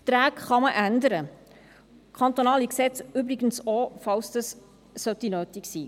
Verträge kann man ändern, kantonale Gesetze übrigens auch, falls das nötig sein sollte.